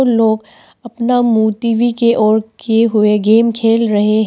लोग अपना मुं टी_वी के ओर किए हुए गेम खेल रहे हैं।